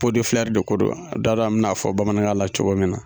de ko don na t'a dɔn min n'a fɔ bamanan kan na cogo min na.